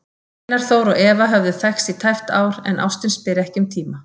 Einar Þór og Eva höfðu þekkst í tæpt ár, en ástin spyr ekki um tíma.